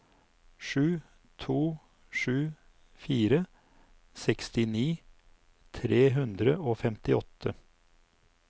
sju to sju fire sekstini tre hundre og femtiåtte